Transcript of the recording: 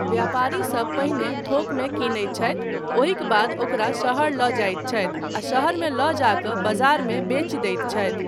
व्यापारीसब पहिने थोकमे किनैत छथि, ओहिक बाद ओकरा शहर लऽ जाइत छथि आ शहरमे लऽ जा कऽ बजारमे बेचि दैत छथि।